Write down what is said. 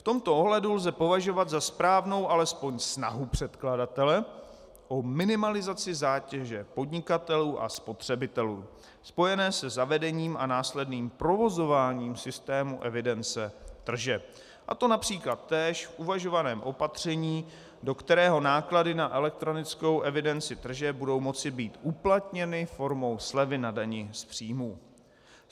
V tomto ohledu lze považovat za správnou alespoň snahu předkladatele o minimalizaci zátěže podnikatelů a spotřebitelů spojené se zavedením a následným provozováním systému evidence tržeb, a to například též v uvažovaném opatření, do kterého náklady na elektronickou evidenci tržeb budou moci být uplatněny formou slevy na dani z příjmů.